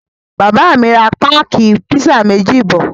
Bàbá mi ra páákì pizza méjì bọ̀.